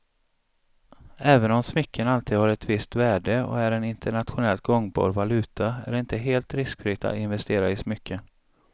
Även om smycken alltid har ett visst värde och är en internationellt gångbar valuta är det inte helt riskfritt att investera i smycken.